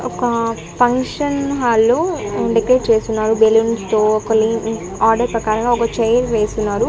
ఒక ఫంక్షన్ హాల్లో డెకరేట్ చేసున్నారు బెలూన్స్ తో ఒక లైన్ ఆర్డర్ ప్రకారంగా ఒక చైర్ వేసున్నారు.